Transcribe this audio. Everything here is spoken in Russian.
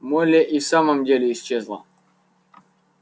молли и в самом деле исчезла